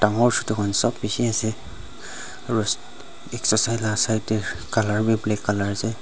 etu khan sop bishi ase aru side te colour bi black colour ase.